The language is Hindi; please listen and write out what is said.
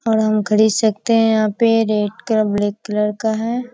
और हम खरीद सकते हैं | यहाँ पे रेड कलर ब्लैक कलर का है।